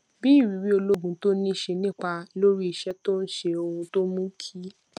bí ìrírí ológun tó ní ṣe nípa lórí iṣẹ tó ń ṣe ohun tó mú kí